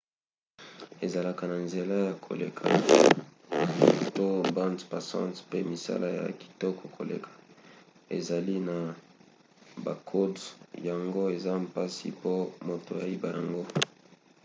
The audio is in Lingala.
ezalaka na nzela ya koleka to bande passante pe misala ya kitoko koleka. ezali na bakode yango eza mpasi po moto ayiba yango